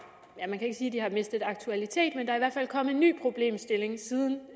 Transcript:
mistet aktualitet men der er i hvert fald kommet en ny problemstilling siden